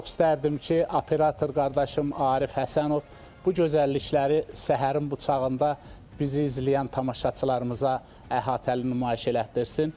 Çox istərdim ki, operator qardaşım Arif Həsənov bu gözəllikləri səhərin bu çağında bizi izləyən tamaşaçılarımıza əhatəli nümayiş elətdirsin.